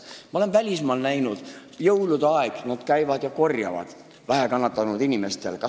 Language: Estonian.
Ma olen välismaal näinud jõulude ajal, et nad käivad ja korjavad kannatanud inimestele raha.